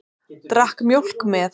Drakk mjólk með.